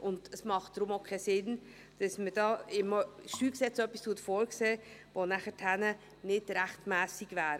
Deshalb macht es auch keinen Sinn, etwas im StG vorzusehen, das nachher nicht rechtmässig wäre.